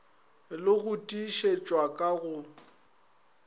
le go tiišetšwa ka go